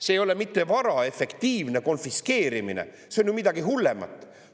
See ei ole mitte vara efektiivne konfiskeerimine, see on ju midagi hullemat!